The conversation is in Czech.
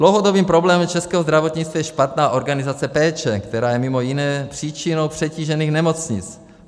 Dlouhodobým problémem českého zdravotnictví je špatná organizace péče, která je mimo jiné příčinou přetížených nemocnic.